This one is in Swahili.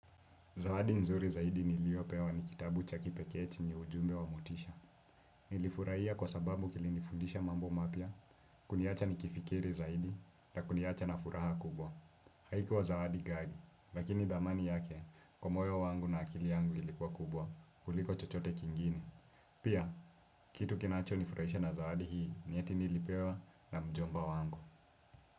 Zawadi nzuri zaidi niliopewa ni kitabu cha kipekee chenye ujumbe wa motisha. Nilifurahia kwa sababu kilinifundisha mambo mapya, kuniacha nikifikiri zaidi na kuniacha na furaha kubwa. Haikuwa zaidi gali, lakini thamani yake, kwa moyo wangu na akili yangu ilikuwa kubwa, kuliko chochote kingine. Pia, kitu kinacho nifurahisha na zaidi hii, ni eti nilipewa na mjomba wangu.